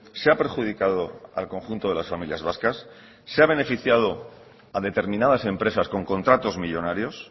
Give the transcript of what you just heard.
se ha perjudicado al conjunto de las familias vascas se ha beneficiado a determinadas empresas con contratos millónarios